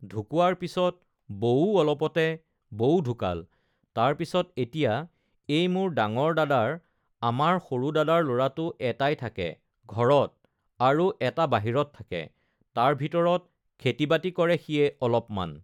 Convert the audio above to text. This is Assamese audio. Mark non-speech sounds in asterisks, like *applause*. *noise* ঢুকোৱাৰ পিছত বৌও অলপতে বৌও ঢুকাল, তাৰ পিছত এতিয়া এই মোৰ ডাঙৰ দাদাৰ আমাৰ সৰু দাদাৰ ল'ৰাটো এটাই থাকে, ঘৰত আৰু এটা বাহিৰত থাকে, তাৰ ভিতৰত খেতি-বাতি কৰে সিয়ে অলপমান